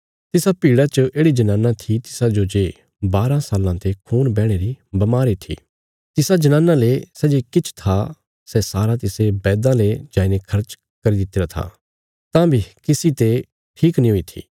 तिसा भीड़ा च येढ़ि जनाना थी तिसाजो जे बारा साल्लां ते खून बैहणे री बमारी थी तिसा जनाना ले सै जे किछ था सै सारा तिसे बैदां ले जाईने खर्ची दितिरा था तां बी किसी ते ठीक नीं हुई थी